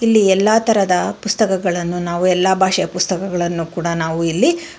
ಇಲ್ಲಿ ಎಲ್ಲಾ ತರದ ಪುಸ್ತಕಗಳನ್ನು ನಾವು ಎಲ್ಲಾ ಭಾಷೆಯ ಪುಸ್ತಕಗಳನ್ನು ಕೂಡ ನಾವು ಇಲ್ಲಿ--